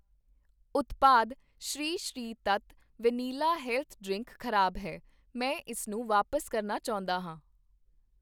ਉਤਪਾਦ Sri Sri Tattva vanilla health drink ਖ਼ਰਾਬ ਹੈ, ਮੈਂ ਇਸ ਨੂੰ ਵਾਪਸ ਕਰਨਾ ਚਾਹੁੰਦਾ ਹਾਂ।